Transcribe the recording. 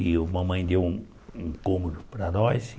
E a mamãe deu um cômodo para nós.